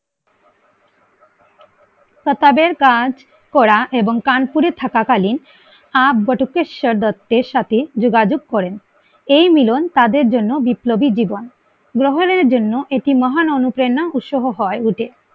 কাজ করা এবং কানপুরে থাকা কালীন আহ বটকেশ্বর দত্তের সাথে যোগাযোগ করেন এই মিলন তাদের জন্য বিপ্লবী জীবন গ্রহণের জন্য এটি মহান অনুপ্রেরণা উৎসাহ হয়ে উঠে